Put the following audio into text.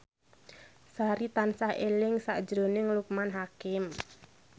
Sari tansah eling sakjroning Loekman Hakim